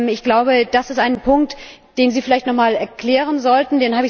Ich glaube, das ist ein Punkt, den Sie vielleicht noch einmal erklären sollten.